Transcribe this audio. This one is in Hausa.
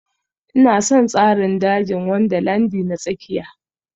Ina son tsarin dajin Wundarlandi na tsakiya